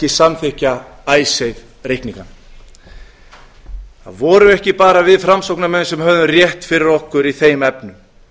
samþykkja icesave reikningana það vorum ekki bara við framsóknarmenn sem hefðum rétt fyrir okkur í þeim efnum